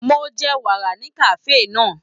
Mo jẹ wàrà ní kafe náà.